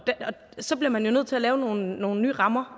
så bliver man jo nødt til at lave nogle nogle nye rammer